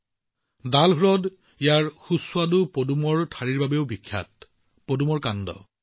ডাল হ্ৰদ ইয়াৰ সুস্বাদু লোটাছ ষ্টেমৰ বাবেও জনাজাত যাক কমল কাকদি বুলিও জনা যায়